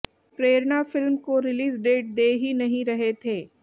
प्रेरणा film को release date दे ही नहीं रहे थे